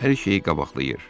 Hər şeyi qabaqlayır.